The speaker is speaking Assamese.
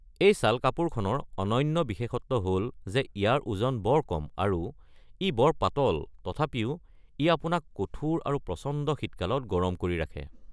এই শ্বাল-কাপোৰখনৰ অনন্য বিশেষত্ব হ’ল যে ইয়াৰ ওজন বৰ কম আৰু ই বৰ পাতল তথাপিও ই আপোনাক কঠোৰ আৰু প্ৰচণ্ড শীতকালত গৰম কৰি ৰাখে।